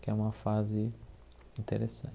Que é uma fase